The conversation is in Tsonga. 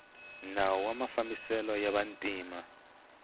nawu wa mafambiselo ya vantima